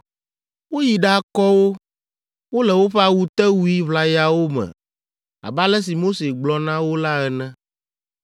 Woyi ɖakɔ wo; wole woƒe awutewui ʋlayawo me abe ale si Mose gblɔ na wo la ene.